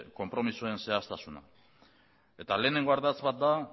konpromisoen zehaztasuna hiru arlotan banatuta lehenengo ardatz bat da